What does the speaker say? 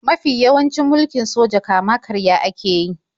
Mafi yawancin mulkin soja kama-karya ake yi.